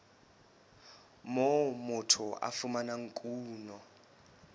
moo motho a fumanang kuno